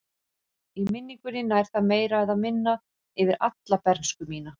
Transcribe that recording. Í minningunni nær það meira eða minna yfir alla bernsku mína.